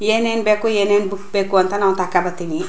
ಏನ್ ಏನ್ ಬೇಕೋ ಏನ್ ಏನ್ ಬುಕ್ ಬೇಕೋ ಅಂತ ನಾನ್ ತಕೋಬತ್ತೀನಿ.